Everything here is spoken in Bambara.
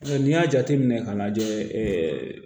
Ɔ n'i y'a jateminɛ k'a lajɛ ɛɛ